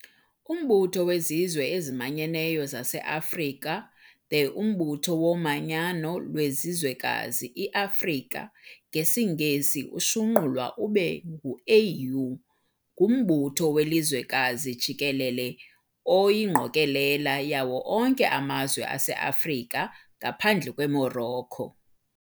Umbutho wezizwe ezimanyeneyo zaseAfrika The Umbutho womanyano lwelizwekazi i-Afrika, ngesiNgesi ushunqulwa ube ngu-AU, ngumbutho welizwekazi jikelele oyingqokolela yawo onke amazwe ase-Afrika, ngaphandle kweMorocco.